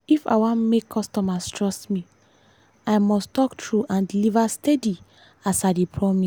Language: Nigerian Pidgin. if i wan make customers trust me i must talk true and deliver steady as i dey promise.